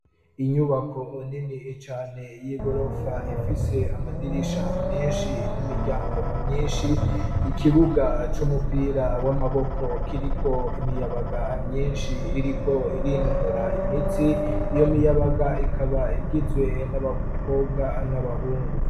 inyubako nini cane y'igorofa ifise amadirisha menshi n'imiryango myinshi ikibuga c'umupira w'amaboko kiriko imiyabaga myinshi iriko irinonora imitsi iyo miyabaga ikaba igizwe n'abakobwa n'abahungu